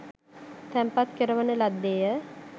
තැන්පත් කරවන ලද්දේ ය